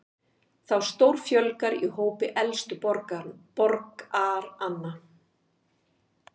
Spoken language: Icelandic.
Þá stórfjölgar í hópi elstu borgaranna